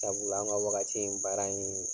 Sabula anw ka wagati in baara in